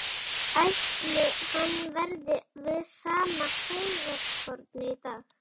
Ætli hann verði við sama heygarðshornið í dag?